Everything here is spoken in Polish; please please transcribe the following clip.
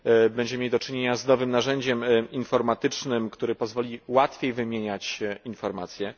będziemy mieli do czynienia z nowym narzędziem informatycznym, które pozwoli łatwiej wymieniać się informacjami.